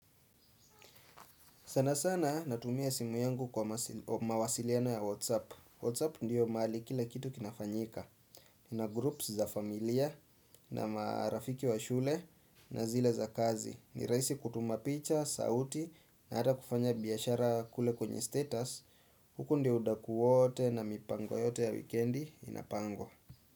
Sana sana natumia simu yangu kwa mawasiliano ya Whatsapp. Whatsapp ndiyo mahali kila kitu kinafanyika. Nina groups za familia na marafiki wa shule na zile za kazi. Ni rahisi kutuma picha, sauti na hata kufanya biashara kule kwenye status. Huko ndio udaku wote na mipango yote ya wikendi inapangwa.